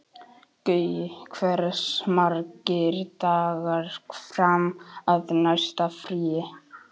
Gaui, hversu margir dagar fram að næsta fríi?